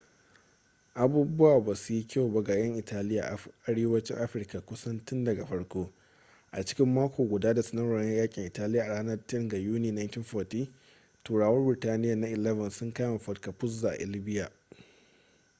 abubuwa ba suyi kyau ba ga yan italia a arewacin afirka kusan tun daga farko a cikin mako guda da sanarwar yakin italiya a ranar 10 ga yuni 1940 turawan birtaniyya na 11 sun kame fort capuzzo a libya